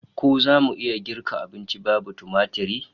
Ko zamu iya girka abunci babu tumatir?